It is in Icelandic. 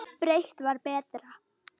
Breitt var betra.